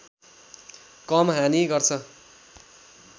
कम हानि गर्छ